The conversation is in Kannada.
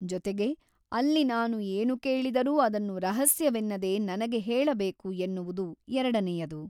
ಜೊತೆಗೆ ಅಲ್ಲಿ ನಾನು ಏನು ಕೇಳಿದರೂ ಅದನ್ನು ರಹಸ್ಯವೆನ್ನದೆ ನನಗೆ ಹೇಳಬೇಕು ಎನ್ನುವುದು ಎರಡನೆಯದು.